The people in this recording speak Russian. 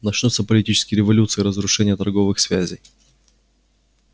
начнутся политические революции разрушение торговых связей